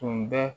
Tun bɛ